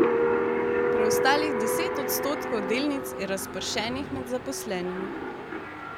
Preostalih deset odstotkov delnic je razpršenih med zaposlenimi.